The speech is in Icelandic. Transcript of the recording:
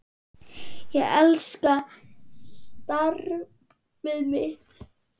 Ég elska starfið mitt.